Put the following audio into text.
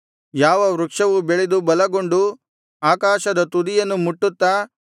ಯಾವ ವೃಕ್ಷವು ಬೆಳೆದು ಬಲಗೊಂಡು ಆಕಾಶದ ತುದಿಯನ್ನು ಮುಟ್ಟುತ್ತಾ